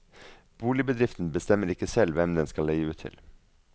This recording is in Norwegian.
Boligbedriften bestemmer ikke selv hvem den skal leie ut til.